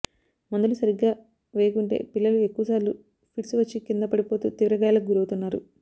మందులు సరిగ్గా వేయకుంటే పిల్లలు ఎక్కువ సార్లు ఫిడ్స్ వచ్చి కింద పడిపోతూ తీవ్ర గాయాలకు గురవుతున్నారు